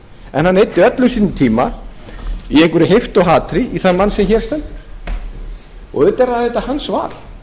en hann eyddi öllum sínum tíma í einhverju heiftarhatri í þann mann sem hér stendur auðvitað er það hans val